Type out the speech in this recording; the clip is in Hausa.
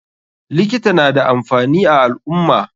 Likita nada amfani a alummah.